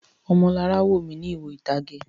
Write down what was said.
Ọmọlará wò mí ní ìwo ìtage.